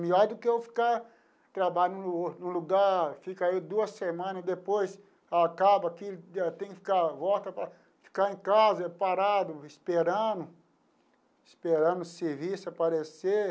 Melhor do que eu ficar trabalhando no no lugar, fica aí duas semanas, e depois acaba aqui, tem que ficar, volta para ficar em casa, parado, esperando, esperando o serviço aparecer.